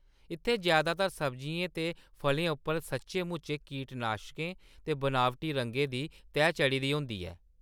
इत्थै जैदातर सब्जियें ते फलें उप्पर सच्चें मुच्चें कीटनाशकें ते बनावटी रंगें गी तैह् चढ़ी दी होंदी ऐ।